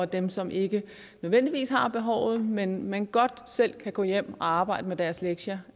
dem som ikke nødvendigvis har behovet men men godt selv kan gå hjem og arbejde med deres lektier